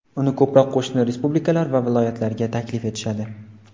Uni ko‘proq qo‘shni respublikalar va viloyatlarga taklif etishadi.